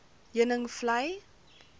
heuningvlei